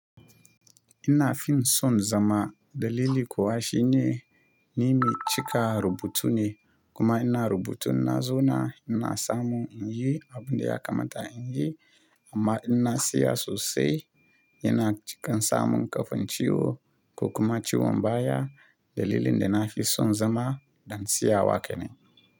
Ina fi son zama dalili kuwa shi ne, ni mai cika rubutu ne kuma ina rubutu na zauna ina samun in yi abin da ya kamata in yi amma ina siya sosai yana cikin samun ƙafin ciwo ko kuma ciwon baya. Dalilin da na fi son zama ɗan siyawa kenan.